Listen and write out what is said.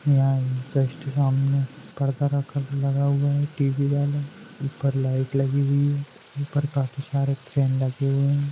यहा सामने पर्दा रखा लगा हुआ हुई टीवीवाला ऊपर लाइट लगी हुई है। ऊपर काफी सारे फॅन लगे हुए है।